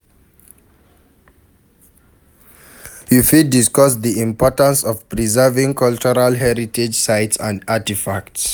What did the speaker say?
You fit discuss di importance of preserving cultural heritage sites and artifacts.